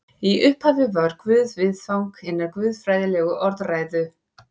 Í upphafi var Guð viðfang hinnar guðfræðilegu orðræðu.